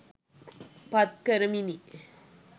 පත් කරමිනි.